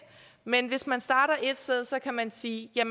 men hvis man starter et sted kan man sige at